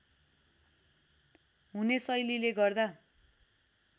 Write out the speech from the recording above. हुने शैलीले गर्दा